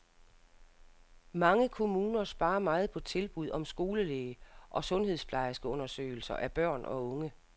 Mange kommuner sparer meget på tilbud om skolelæge og sundhedsplejerskeundersøgelser af børn og unge.